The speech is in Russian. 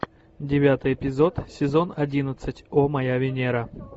девятый эпизод сезон одиннадцать о моя венера